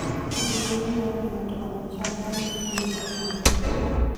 Pidho gwen dwaro ni ng'ato onon chal mar le kinde ka kinde.